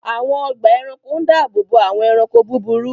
Àwọn ọgbà ẹranko ń dáàbòbò àwọn ẹranko búburú